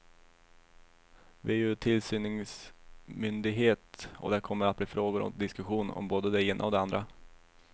Vi är ju tillsyningsmyndighet, och det kommer att bli frågor och diskussion om både det ena och det andra.